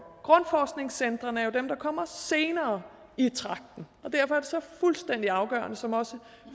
grundforskningscentrene er jo dem der kommer senere i tragten og derfor er det så fuldstændig afgørende som også